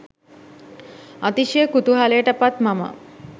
අතිශය කුතුහලයට පත් මම